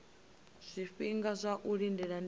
zwifhinga zwa u lindela ndi